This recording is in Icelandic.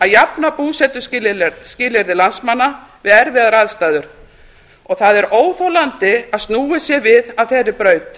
jafna búsetuskilyrði landsmanna við erfiðar aðstæður og það er óþolandi að snúið sé við af þeirri braut